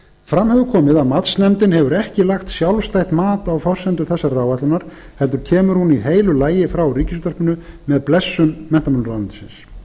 fram hefur komið að matsnefndin hefur ekki lagt sjálfstætt mat á forsendur þessarar áætlunar heldur kemur hún í heilu lagi frá ríkisútvarpinu með blessun menntamálaráðuneytisins